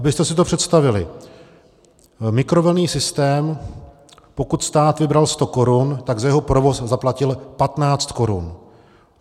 Abyste si to představili, mikrovlnný systém, pokud stát vybral 100 korun, tak za jeho provoz zaplatil 15 korun.